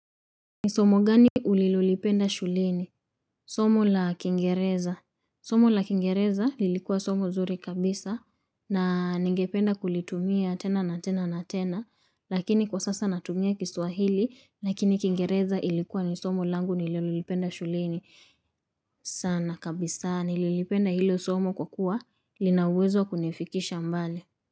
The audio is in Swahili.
Ni somo gani ulilolipenda shuleni? Somo la kiingereza. Somo la kiingereza lilikuwa somo nzuri kabisa na ningependa kulitumia tena na tena na tena. Lakini kwa sasa natumia kiswahili lakini kingereza ilikuwa ni somo langu nililolipenda shuleni, sana kabisa. Nililipenda hilo somo kwa kuwa lina uwezo kunifikisha mbali.